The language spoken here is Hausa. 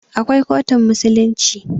Akwai kotun musulunci.